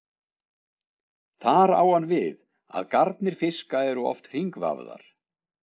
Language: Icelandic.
Þar á hann við að garnir fiska eru oft hringvafðar.